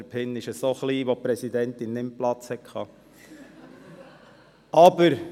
Der Pin ist so klein, sodass nur für das Wort «Präsident» Platz vorhanden war.